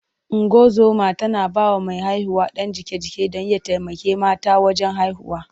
Ungozoma tana ba wa mai haihuwa ɗan jiƙe-jiƙe don ya taimaka mata wajen haihuwa.